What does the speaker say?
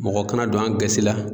Mɔgɔ kana don an gasi la.